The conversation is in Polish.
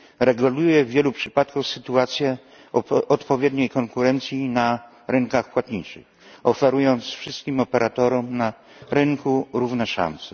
reguluje w wielu przypadkach sytuację odpowiedniej konkurencji na rynkach płatniczych, oferując wszystkim operatorom na rynku równe szanse.